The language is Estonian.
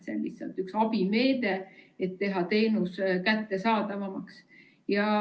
See on lihtsalt üks abimeede, et teha teenus kättesaadavamaks.